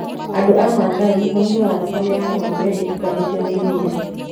Andũ a Masai manyuaga thakame ya ng'ombe ĩtukanĩtio na iria.